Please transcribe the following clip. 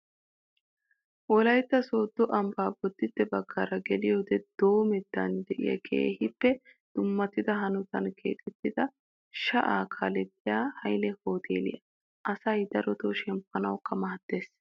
Wolaytta soddo ambba bodditte baggara geliyoode doomettan diya keehippe dummatida hanotan keexettida sha"aa kalettiya hayile hooteeliyaa. Asa darotoo shemppanawukka maaddes